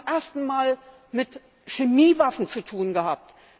Wir haben es zum ersten Mal mit Chemiewaffen zu tun gehabt.